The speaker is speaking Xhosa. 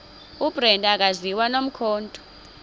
ubrenda akaziwa nomkhondo